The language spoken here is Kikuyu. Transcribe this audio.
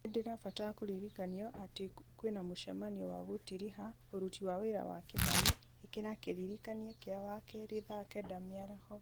nĩ ndĩrabatara kũririkanio atĩ kwĩna mũcemanio wa gũtiriha ũruti wa wĩra wa kĩmani ĩkĩra kĩririkania kĩa wakerĩ thaa kenda mĩaraho